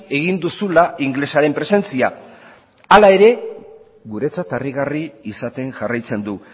egin duzula ingelesaren presentzia hala ere guretzat harrigarri izaten jarraitzen du